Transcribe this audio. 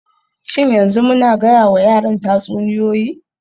Shin yanzu muna gayawa yaran tatsuniyoyi??